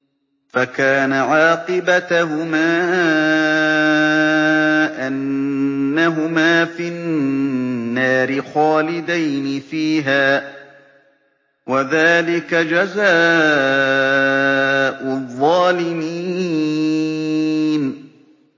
فَكَانَ عَاقِبَتَهُمَا أَنَّهُمَا فِي النَّارِ خَالِدَيْنِ فِيهَا ۚ وَذَٰلِكَ جَزَاءُ الظَّالِمِينَ